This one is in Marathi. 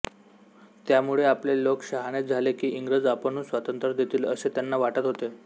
त्यामुळे आपले लोक शहाणे झाले की इंग्रज आपणहून स्वातंत्र्य देतील असे त्यांना वाटत होते